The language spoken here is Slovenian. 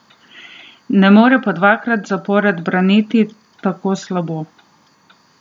Ne more pa dvakrat zapored braniti tako slabo!